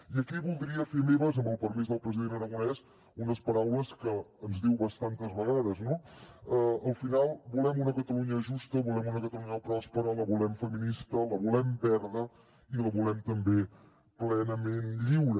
i aquí voldria fer meves amb el permís del president aragonès unes paraules que ens diu bastantes vegades no al final volem una catalunya justa volem una catalunya pròspera la volem feminista la volem verda i la volem també plenament lliure